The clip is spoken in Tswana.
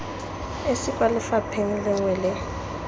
esi kwa lefapheng lengwe le